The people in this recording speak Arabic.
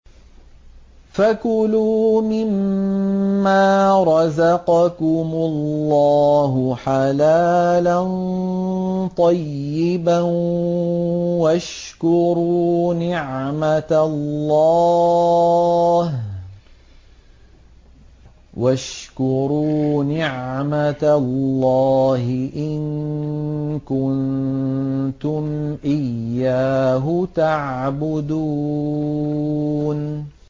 فَكُلُوا مِمَّا رَزَقَكُمُ اللَّهُ حَلَالًا طَيِّبًا وَاشْكُرُوا نِعْمَتَ اللَّهِ إِن كُنتُمْ إِيَّاهُ تَعْبُدُونَ